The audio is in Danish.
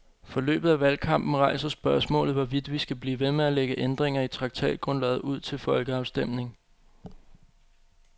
Forløbet af valgkampen rejser spørgsmålet, hvorvidt vi skal blive ved med at lægge ændringer i traktatgrundlaget ud til folkeafstemning.